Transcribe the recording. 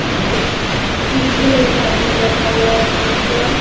इसके पीछे एक आदमी बैठा हुआ है सीट पर --